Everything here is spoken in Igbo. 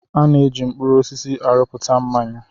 A na-eji mkpụrụ osisi arụpụta mmanya.